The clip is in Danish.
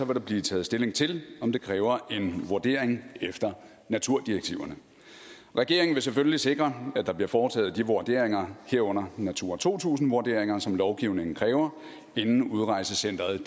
der blive taget stilling til om det kræver en vurdering efter naturdirektiverne regeringen vil selvfølgelig sikre at der bliver foretaget de vurderinger herunder natura to tusind vurderinger som lovgivningen kræver inden udrejsecenteret